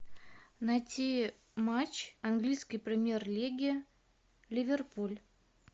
найти матч английской премьер лиги ливерпуль